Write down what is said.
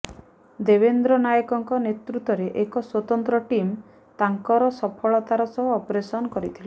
ଦେବେନ୍ଦ୍ର ନାଏକଙ୍କ ନେତୃତ୍ୱରେ ଏକ ସ୍ୱତନ୍ତ୍ର ଟିମ୍ ତାଙ୍କର ସଫଳତାର ସହ ଅପରେସନ୍ କରିଥିଲେ